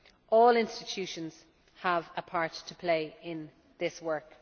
All institutions have a part to play in this work.